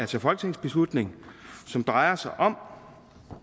til folketingsbeslutning som drejer sig om